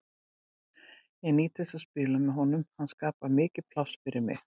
Ég nýt þess að spila með honum og hann skapar mikið pláss fyrir mig.